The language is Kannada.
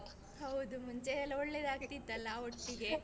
ಹೌದು ಮುಂಚೆ ಎಲ್ಲಾ ಒಳ್ಳೇದಾಗ್ತಿತ್ತಲಾ ಒಟ್ಟಿಗೆ.